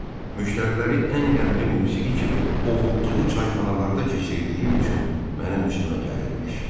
müştəriləri ən qəmli musiqi kimi ovutduğu çayxanalarda keçirdiyim üçün mənim üstümə gəlirmiş.